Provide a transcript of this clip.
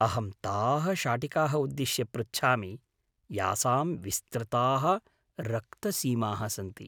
अहं ताः शाटिकाः उद्धिश्य पृच्छामि यासां विस्तृताः रक्तसीमाः सन्ति।